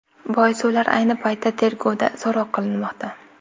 Boisi ular ayni paytda tergovda, so‘roq qilinmoqda.